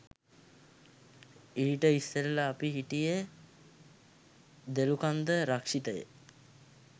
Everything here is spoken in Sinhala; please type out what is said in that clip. ඊට ඉස්සෙල්ලා අපි හිටියෙ දොළුකන්ද රක්ෂිතයේ